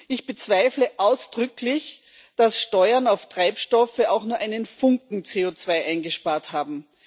Ich bezweifle ausdrücklich, dass Steuern auf Treibstoffe auch nur einen Funken CO2 eingespart haben.